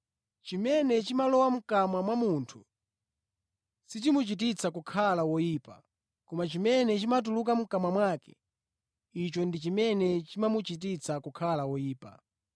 Chimene chimalowa mʼkamwa mwa munthu sichimuchititsa kukhala woyipa, koma chimene chimatuluka mʼkamwa mwake, icho ndi chimene chimamuchititsa kukhala woyipa.”